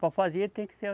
Para fazer tem que ser